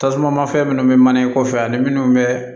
Tasuma mafɛn minnu bɛ mana in kɔfɛ ani minnu bɛ